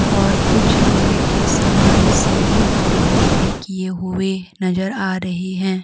और कुछ लोहे के सामान सीधे और डिजाइन भी किए हुए नजर आ रहे है।